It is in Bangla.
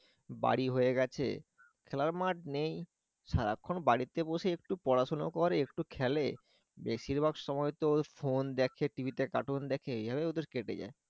বাড়ি হয়ে গেছে খেলার মাঠ নেই সারাক্ষণ বাড়িতে বসে একটু পড়াশোনা করে একটু খেলে বেশিরভাগ সময় তো phone দেখে TV তে cartoon দেখে এভাবে ওদের কেটে যায়